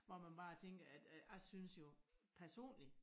Hvor man bare tænker jeg synes jo personlig